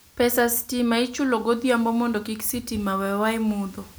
pes sitima ichulo godhiambo mondo kik sitima wewa e mudho